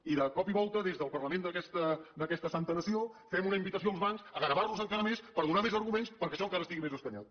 i de cop i volta des del parlament d’aquesta santa nació fem una invitació als bancs a gravar los encara més per donar més arguments perquè això encara estigui més escanyat